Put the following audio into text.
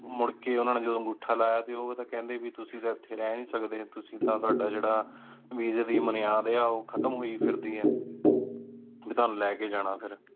ਮੁੜਕੇ ਉਹਨਾਂ ਨੇ ਜਦੋ ਅੰਗੂਠਾ ਲਾਯਾ ਤੇ ਓਹ ਤੇ ਕੇਹੰਦੇ ਵੀ ਤੁਸੀਂ ਤਾਂ ਏਥੇ ਰਹ ਨੀ ਸਕਦੇ ਤੁਸੀਂ ਤਾਂ ਤੁਹਾਡਾ ਜੇਰਾ Visa ਦੀ ਮਾਨ੍ਯਾਦ ਹੈ ਓਹ ਖਤਮ ਹੋਈ ਫਿਰਦੀ ਹੈ ਤੁਹਾਨੂ ਲੇ ਕ ਜਾਣਾ ਫੇਰ